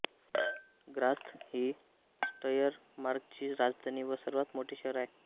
Graz ही श्टायरमार्कची राजधानी व सर्वात मोठे शहर आहे